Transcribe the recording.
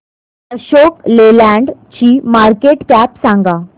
अशोक लेलँड ची market cap सांगा